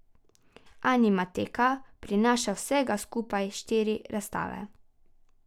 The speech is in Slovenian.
Animateka prinaša vsega skupaj štiri razstave.